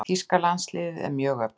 Þýska landsliðið er mjög öflugt.